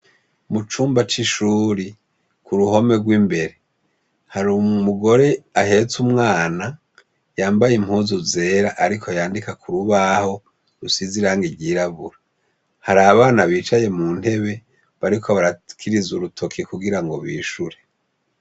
Mucumba c'ishuri k'uruhome rw'imbere har'umugore ahetse umwana yambaye impuzu zera ariko yandika kurubaho rusize irangi ryirabura. har'abana bicaye muntebe bariko barakiriza urutoke kugirango bishure.